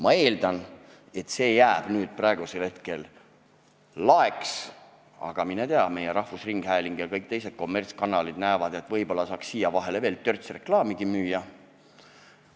Ma eeldan, et see jääb nüüd laeks, aga mine tea, meie rahvusringhääling ja kõik teised kommertskanalid näevad, et võib-olla saaks siia vahele veel törtsu reklaamigi müüa.